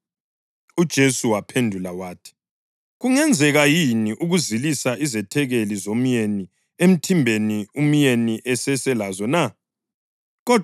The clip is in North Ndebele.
UJesu waphendula wathi, “Kungenzeka yini ukuzilisa izethekeli zomyeni emthimbeni umyeni eseselazo na?